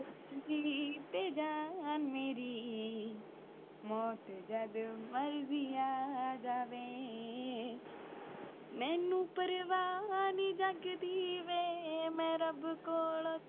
ਤੇ ਜਾਨ ਮੇਰੀ ਮੌਤ ਜਦ ਮਰਿਜੀ ਆ ਜਾਵੇ ਮੈਨੂੰ ਪਰਵਾਹ ਨੀ ਜਗ ਦੀ ਵੇ ਮੈਂ ਰਬ ਕੋਲੋਂ